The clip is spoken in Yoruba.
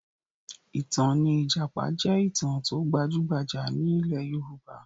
Ìtàn ní ìjàpá jẹ́ ìtàn tó gbajúgbajà ní ilẹ̀ Yorùbá